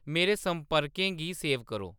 मेरे संपर्कें गी सेव करो